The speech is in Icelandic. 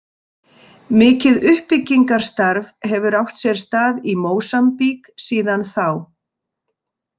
Mikið uppbyggingarstarf hefur átt sér stað í Mósambík síðan þá.